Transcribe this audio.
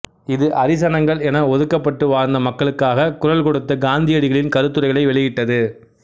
இது அரிசனங்கள் என ஒதுக்கப்பட்டு வாழ்ந்த மக்களுக்காகக் குரல் கொடுத்த காந்தியடிகளின் கருத்துரைகளை வெளியிட்டது